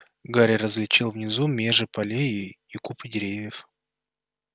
гарри различил внизу межи полей и купы деревьев